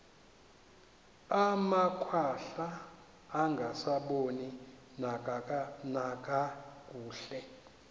amakhwahla angasaboni nakakuhle